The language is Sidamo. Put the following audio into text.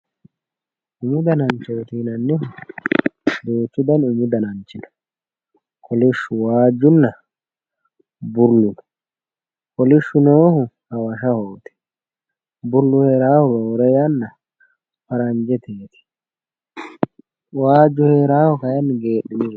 umu dananchooti yinannihu duuchu dani umu dananchi no. kolishshu waajjunna bullu no kolishshu noohu hawashahooti bullu heerawoohu roore yanna faranjeteeti waajju heerawoohu kayiinni geedhinirooti.